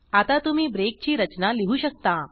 आता तुम्ही ब्रेक ची रचना लिहू शकता